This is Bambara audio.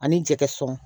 Ani jɛgɛ sɔngɔ